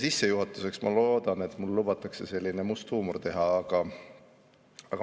Sissejuhatuseks, ma loodan, et mulle lubatakse väike must huumor.